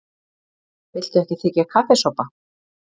Viltu ekki þiggja kaffisopa?